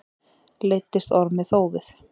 Leiddist Ormi þófið.